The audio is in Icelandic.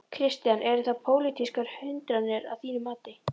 Kristján: Eru það pólitískar hindranir að þínu mati?